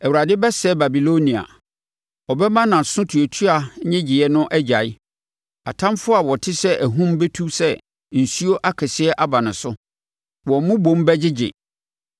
Awurade bɛsɛe Babilonia; ɔbɛma nʼasotuatua nnyegyeeɛ no agyae. Atamfoɔ a wɔte sɛ ahum bɛtu sɛ nsuo akɛseɛ aba ne so; wɔn mmobom bɛgyegye.